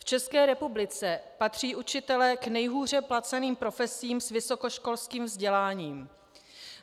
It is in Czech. V České republice patří učitelé k nejhůře placeným profesím s vysokoškolským vzděláním.